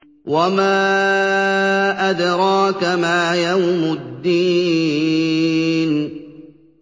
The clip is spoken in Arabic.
وَمَا أَدْرَاكَ مَا يَوْمُ الدِّينِ